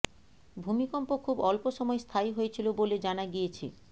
ভূমিকম্প খুব অল্প সময় স্থায়ী হয়েছিল বলে জানা গিয়েছে